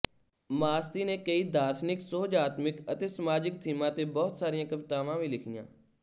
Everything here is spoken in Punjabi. ਮਾਸਤੀ ਨੇ ਕਈ ਦਾਰਸ਼ਨਿਕ ਸੁਹਜਾਤਮਿਕ ਅਤੇ ਸਮਾਜਿਕ ਥੀਮਾਂ ਤੇ ਬਹੁਤ ਸਾਰੀਆਂ ਕਵਿਤਾਵਾਂ ਵੀ ਲਿਖੀਆਂ